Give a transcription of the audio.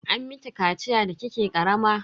An miki kaciya da kike karama?